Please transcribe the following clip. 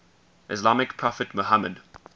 islamic prophet muhammad